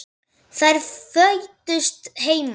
Þær fæddust heima.